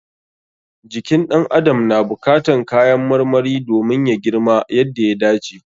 Jikin ɗan adam na buƙatan kayan marmari domin ya girma yadda ya dace.